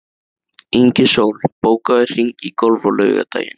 Ingisól, bókaðu hring í golf á laugardaginn.